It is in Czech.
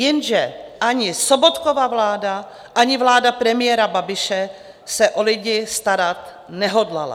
Jenže ani Sobotkova vláda, ani vláda premiéra Babiše se o lidi starat nehodlala.